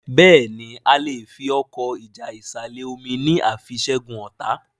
Béèni a lẹ fí Ọkọ́ ìjà ìsàlẹ̀-omi ní a fí ṣẹgun ọta.